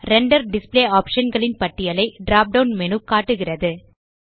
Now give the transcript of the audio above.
render display optionகளின் பட்டியலை drop down menu காட்டுகிறது